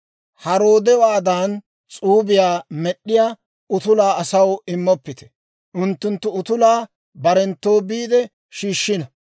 «Haroodewaadan s'uubiyaa med'd'iyaa utulaa asaw immoppite; unttunttu utulaa barenttoo biide shiishshino;